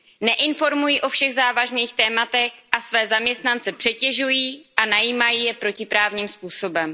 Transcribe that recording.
Neinformují o všech závažných tématech a své zaměstnance přetěžují a najímají je protiprávním způsobem.